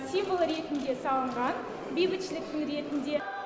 символы ретінде салынған бейбітшіліктің ретінде